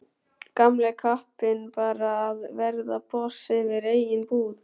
Gamli kappinn bara að verða boss yfir eigin búð.